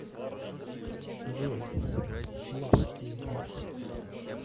джой ласт видео